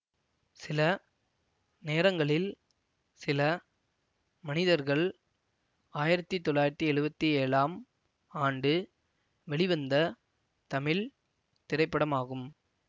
சில நேரங்களில் சில மனிதர்கள் ஆயிரத்தி தொள்ளாயிரத்தி எழுவத்தி ஏழாம் ஆண்டு வெளிவந்த தமிழ் திரைப்படமாகும்